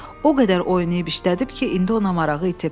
O qədər oynayıb işlədib ki, indi ona marağı itib.